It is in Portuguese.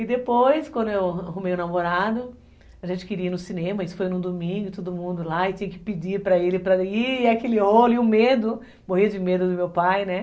E depois, quando eu arrumei o namorado, a gente queria ir no cinema, isso foi num domingo, todo mundo lá, e tinha que pedir para ele, para ele, e aquele olho, e o medo, morria de medo do meu pai, né?